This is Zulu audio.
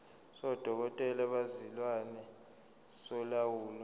sodokotela bezilwane solawulo